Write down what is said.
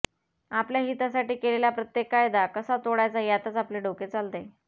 आपल्या हितासाठी केलेला प्रत्येक कायदा कसा तोडायचा यातच आपले डोके चालते